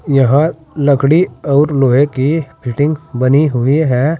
यहां लकड़ी और लोहे की फिटिंग बनी हुई है।